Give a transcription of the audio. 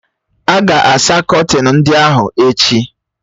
A ga-asa kọtin ndị ahụ echi